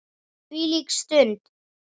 Þvílík stund!